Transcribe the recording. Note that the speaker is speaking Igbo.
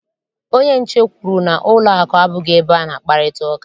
Onye nche kwuru na ụlọakụ abụghị ebe a na-akparịta ụka.